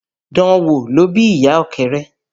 Dan wò ló bí ìyà Ọ̀kẹ́rẹ́